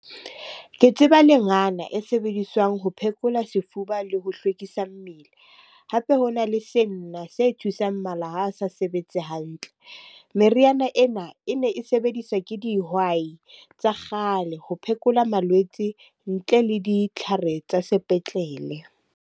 Ke tseba lengana e sebediswang ho phekola sefuba le ho hlwekisa mmele. Hape ho na le senna se thusang mala ha a sa sebetse hantle. Meriana ena e ne e sebediswa ke dihwai tsa kgale ho phekola malwetse ntle le ditlhare tsa sepetlele.